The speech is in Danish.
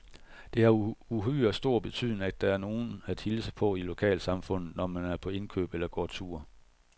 Det har uhyre stor betydning, at der er nogen at hilse på i lokalsamfundet, når man er på indkøb eller går tur.